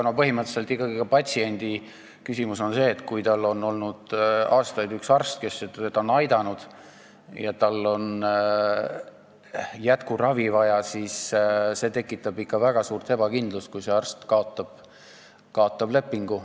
Aga põhimõtteliselt on patsiendi jaoks küsimus selles, et kui tal on aastaid olnud üks arst, kes on teda aidanud, ja tal on jätkuravi vaja, siis see tekitab ikka väga suurt ebakindlust, kui see arst lepingu kaotab.